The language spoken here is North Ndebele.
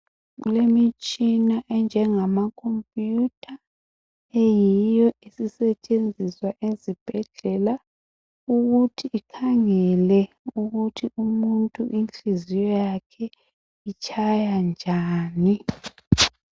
Kulemitshina enjengamakhompiyutha eyiyo esisetshenziswa ezibhedlela ukuthi ikhangele ukuthi umuntu inhliziyo yakhe itshaya njani.